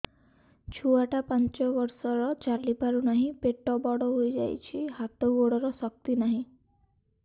ଛୁଆଟା ପାଞ୍ଚ ବର୍ଷର ଚାଲି ପାରୁନାହଁ ପେଟ ବଡ ହୋଇ ଯାଉଛି ହାତ ଗୋଡ଼ର ଶକ୍ତି ନାହିଁ